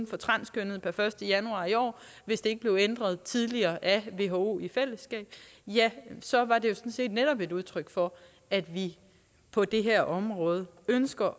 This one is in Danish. for transkønnede per første januar i år hvis den ikke blev ændret tidligere af who i fællesskab ja så var det jo sådan set netop et udtryk for at vi på det her område ønsker